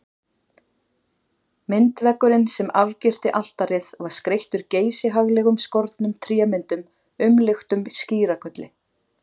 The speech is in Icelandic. Myndveggurinn sem afgirti altarið var skreyttur geysihaglega skornum trémyndum umluktum skíragulli.